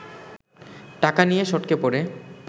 টাকা নিয়ে সটকে পড়ে